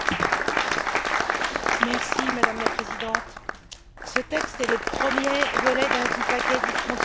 Madame la Présidente, ce texte est le premier volet du paquet Frontières intelligentes, tout un programme.